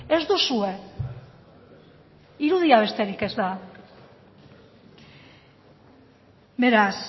ez duzue irudia besterik ez da beraz